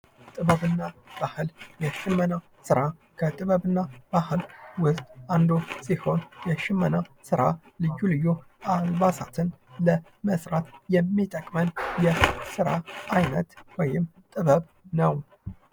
ጥበብ እና ባህል፦ የሽመና ስራ፦ የሽመና ስራ ከጥበብ እና ባህል ውስጥ አንዱ ሲሆን የሽመና ልዩ ልይ አልባሳትን ለመስራት የሚጠቅመን የስራ አይነት ወይም ጥበብ ነው።